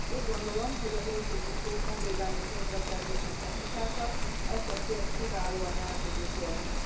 Úgy gondolom, hogy az új típusú honvédelmi közbeszerzési technikákkal ezt a célt kiválóan el tudjuk érni.